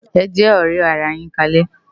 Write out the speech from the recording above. Ejè òrè àrá yin kálè